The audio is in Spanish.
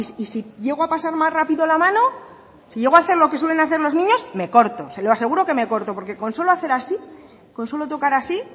y si llego a pasar más rápido la mano si llego a hacer lo que suelen hacer los niños me corto se lo aseguro que me corto porque con solo hacer así con solo tocar así